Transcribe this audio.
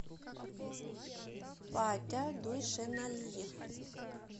патя дуйшеналиев